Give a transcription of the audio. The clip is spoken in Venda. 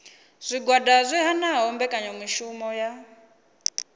zwigwada zwi hanaho mbekanyamishumo dza